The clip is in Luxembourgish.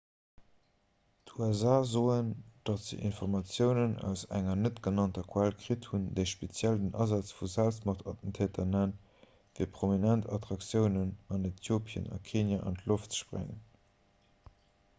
d'usa soen datt se informatiounen aus enger net-genannter quell kritt hunn déi speziell den asaz vu selbstmordattentäteren nennt fir prominent attraktiounen an äthiopien a kenia an d'loft ze sprengen